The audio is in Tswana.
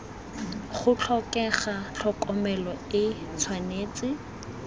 go tlhokega tlhokomelo e tshwanetse